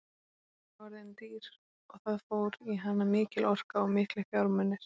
Hún er orðin dýr og það fór í hana mikil orka og miklir fjármunir.